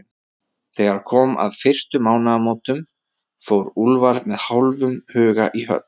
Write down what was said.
Þegar kom að fyrstu mánaðamótunum, fór Úlfar með hálfum huga í höll